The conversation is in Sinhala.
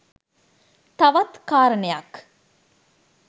තවත් කාරණයක්